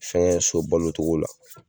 Fɛn so balo togo la